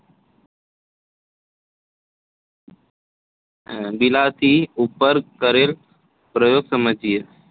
બિલાડી ઉપર કરેલ પ્રયોગ સમજીએ